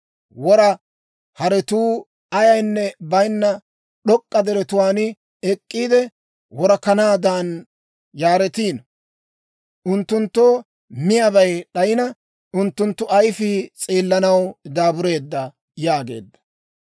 Wora haretuu ayaynne bayinna d'ok'k'a deretuwaan ek'k'iide, worakanatuwaadan yaaretiino. Unttunttoo miyaabay d'ayina, unttunttu ayifii s'eellanaw daabureedda» yaageedda.